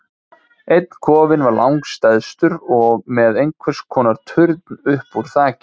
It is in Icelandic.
Einn kofinn var langstærstur og með einhvers konar turn upp úr þakinu.